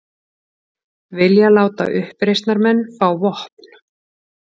Vilja láta uppreisnarmenn fá vopn